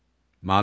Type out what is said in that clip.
Maddə 56.